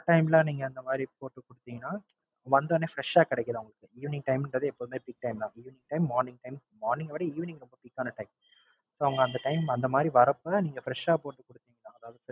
வர Time ல நீங்க அந்த மாதிரி போட்டு குடுத்தீங்கன்னா வந்துவுடனே Fresh ஆ கிடைக்குது அவுங்களுக்கு Evening time ன்றது எப்பவுமே Big time தான் Evening time morning time morning அ விட Evening ரொம்ப Quick ஆன Time. So அவுங்க அந்த Time அந்த மாதிரி வரப்ப நீங்க Fresh ஆ போட்டு குடுத்தீங்கன்னா